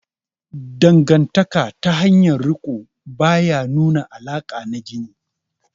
Dangantaka ta hanyar riko ba ya nuna alaƙa na jini